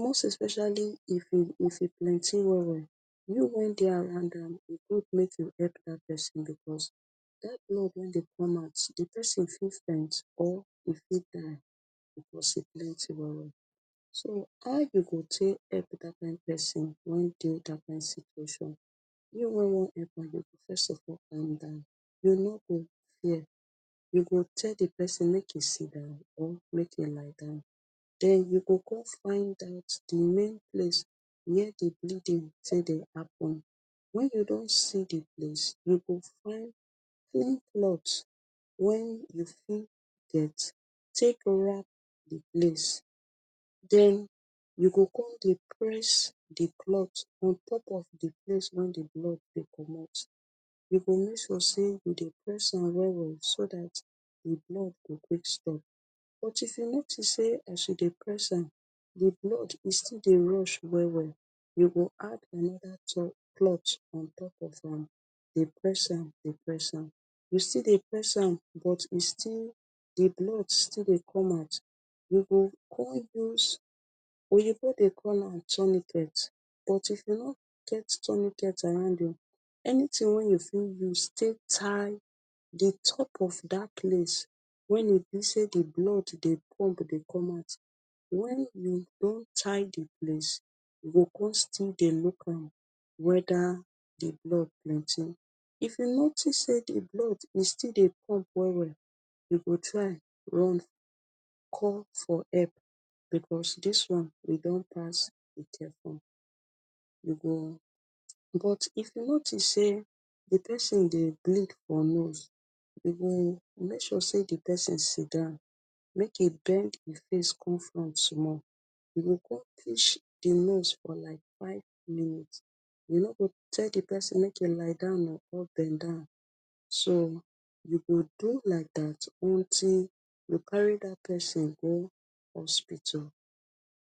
most especially if e plenty well well you way dey around am make you help dat pesin becos dat blood way dey come out pesin fit faint or fit die becos e plenty well well so how you go take help dat pesin way dey dat kind situation you way wan help am go first of all calm down you no go fear you go tell di pesin make e sit down or make e lie down den you go come find di main place way di bleeding take dey happen when you don see di place you go find clean cloth wen you fit get take wrap di place den you go come dey press di cloth on top of di place blood dey comot you go make sure say you dey press am well well so dat di blood go quick stop but if you notice say as you dey press am di blood e still dey rush well well you go add anoda cloth on top of am dey press am dey press am you still dey press am but you still di blood still dey come out you go come use oyibo dey call am tummy belt but if you no get tummy belt around you anything way you fit use take tie di top of dat place wen e bi say di blood dey pump dey comot wen you don tie di place you go come still dey look weda di blood plenty if you notice di blood still dey pump well well you go try run call for help cos dis one done pass be careful you go becos if you notice say di pesin dey bleed for nose you go make sure say di pesin sitdown make e bend e face come from front small you go come you go come fish di nose for like five minutes you no go tell di person make e lie down or bend down so you go do like dat until you carry dat pesin go hospital